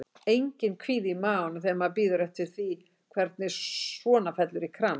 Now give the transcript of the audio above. Enginn kvíði í maganum þegar maður bíður eftir því hvernig svona fellur í kramið?